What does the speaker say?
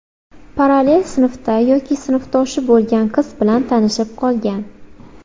Parallel sinfda yoki sinfdoshi bo‘lgan qiz bilan tanishib qolgan.